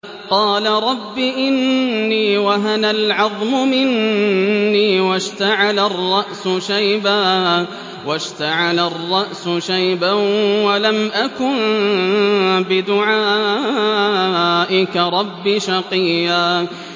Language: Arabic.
قَالَ رَبِّ إِنِّي وَهَنَ الْعَظْمُ مِنِّي وَاشْتَعَلَ الرَّأْسُ شَيْبًا وَلَمْ أَكُن بِدُعَائِكَ رَبِّ شَقِيًّا